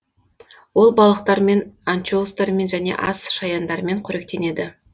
ол балықтармен анчоустармен және асшаяндармен қоректенеді